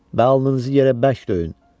Və alnınızı yerə bərk döyün!